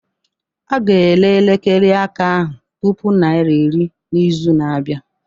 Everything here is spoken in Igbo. A ga-ere elekere aka ahụ puku naira iri n'izu na-abịa